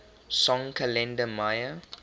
song kalenda maya